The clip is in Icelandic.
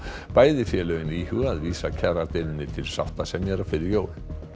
bæði félögin íhuga að vísa kjaradeilunni til sáttasemjara fyrir jól